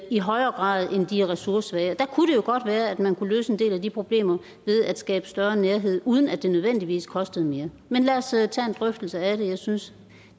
i højere grad end de ressourcesvage der kunne det jo godt være at man kunne løse en del af de problemer ved at skabe større nærhed uden at det nødvendigvis kostede mere men lad os tage en drøftelse af det jeg synes